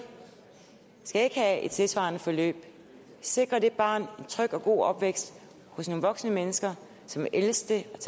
skal ikke have et tilsvarende forløb vi sikrer det barn en tryg og god opvækst hos nogle voksne mennesker som vil elske det